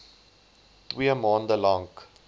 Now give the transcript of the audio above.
twee maande lank